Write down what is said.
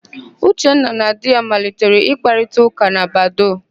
Uchenna na di ya malitere ịkparịtaụ́kà na Badoo.